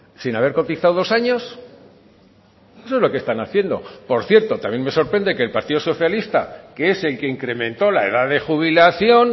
sin haber cotizado dos años eso es lo que están haciendo por cierto también me sorprende que el partido socialista que es el que incrementó la edad de jubilación